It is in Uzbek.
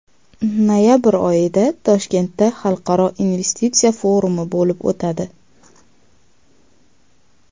Noyabr oyida Toshkentda Xalqaro investitsiya forumi bo‘lib o‘tadi.